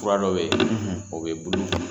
Kura dɔ bɛ yen o bɛ bulu